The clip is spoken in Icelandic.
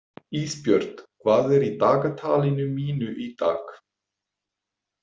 Ísbjört, hvað er í dagatalinu mínu í dag?